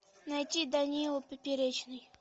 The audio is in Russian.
найти данила поперечный